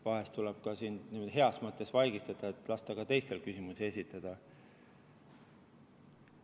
Vahel tuleb sind ka niimoodi heas mõttes vaigistada, et lasta ka teistel küsimusi esitada.